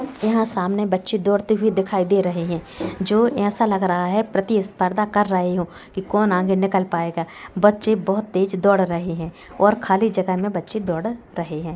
यहा सामने बच्चे दोड़ते हुए दिखाई दे रहे है जो ऐसा लग रहा है प्रतिस्पृधा कर रहे हो कि कौन आगे निकल पाएगा बच्चे बहुत तेज दोड़ रहे है और खाली जगह मे बच्चे दौड रहे है।